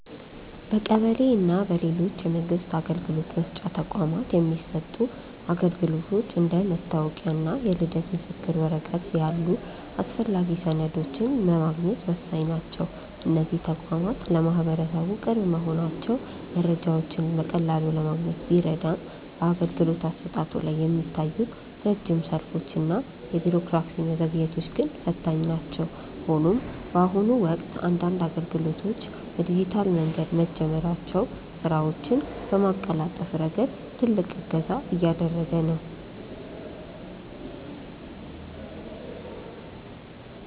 በቀበሌ እና በሌሎች የመንግስት አገልግሎት መስጫ ተቋማት የሚሰጡ አገልግሎቶች እንደ መታወቂያ እና የልደት ምስክር ወረቀት ያሉ አስፈላጊ ሰነዶችን ለማግኘት ወሳኝ ናቸው። እነዚህ ተቋማት ለማህበረሰቡ ቅርብ መሆናቸው መረጃዎችን በቀላሉ ለማግኘት ቢረዳም፣ በአገልግሎት አሰጣጡ ላይ የሚታዩት ረጅም ሰልፎች እና የቢሮክራሲ መዘግየቶች ግን ፈታኝ ናቸው። ሆኖም ግን፣ በአሁኑ ወቅት አንዳንድ አገልግሎቶች በዲጂታል መንገድ መጀመራቸው ስራዎችን በማቀላጠፍ ረገድ ትልቅ እገዛ እያደረገ ነው።